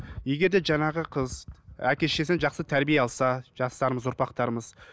егер де жаңағы қыз әке шешесінен жақсы тәрбие алса жастарымыз ұрпақтарымыз